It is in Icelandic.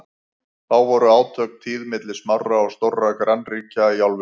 þá voru átök tíð milli smárra og stórra grannríkja í álfunni